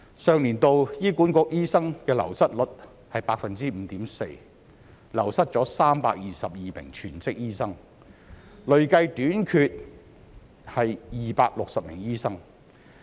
上年度醫院管理局醫生的流失率是 5.4%， 流失322名全職醫生，累計短缺260名醫生。